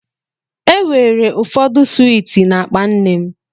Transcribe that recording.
E weere ụfọdụ swiiti na-akpa nne m.